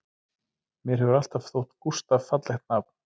Mér hefur alltaf þótt Gústaf fallegt nafn